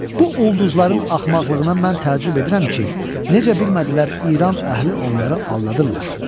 Bu ulduzların axmaqlığına mən təəccüb edirəm ki, necə bilmədilər İran əhli onları aldadırdılar.